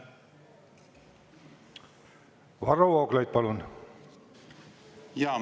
Varro Vooglaid, palun!